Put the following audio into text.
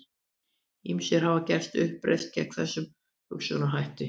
Ýmsir hafa gert uppreisn gegn þessum hugsunarhætti.